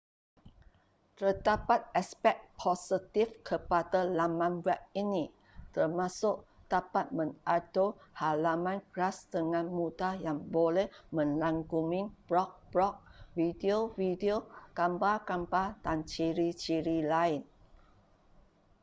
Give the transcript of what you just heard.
terdapat aspek positif kepada laman web ini termasuk dapat mengatur halaman kelas dengan mudah yang boleh merangkumi blog-blog video-video gambar-gambar dan ciri-ciri lain